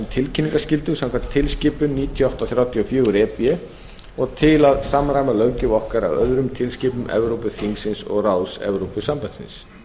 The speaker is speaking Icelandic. tilkynningarskyldu samkvæmt tilskipun níutíu og átta þrjátíu og fjögur e b og til að samræma löggjöf okkar öðrum tilskipunum evrópuþingsins og ráðs evrópusambandsins